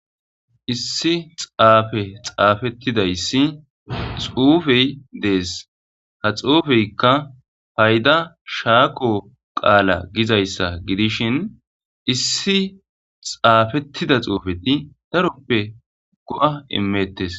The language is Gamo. Issi xaafe xaafettidayssi xuufey dees ha xuufeykka payda shaaqo qaala gizayssa gidishin issi xaafettida xuufeti daroppe go7a imettes